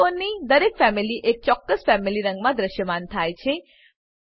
ઘટકોની દરેક ફેમિલી એક ચોક્કસ ફેમિલી રંગમાં દ્રશ્યમાન થાય છે